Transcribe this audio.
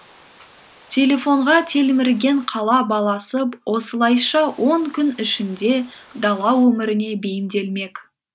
телефонға телмірген қала баласы осылайша он күн ішінде дала өміріне бейімделмек